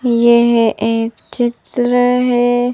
यह एक चित्र है।